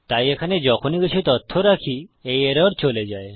তাই এখানে যখনই কিছু তথ্য রাখি এই এরর চলে যায়